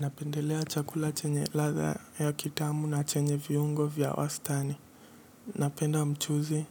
Napendelea chakula chenye ladha ya kitamu na chenye viungo vya wastani. Napenda mchuzi